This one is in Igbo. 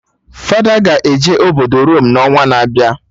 Fada ga-eje obodo Rome n'ọnwa na-abịa